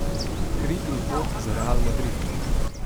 Kri in pot za Real Madrid.